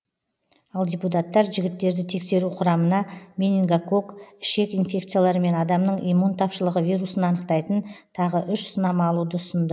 ал депутаттар жігіттерді тексеру құрамына менингокок ішек инфекциялары мен адамның иммун тапшылығы вирусын анықтайтын тағы үш сынама алуды ұсынды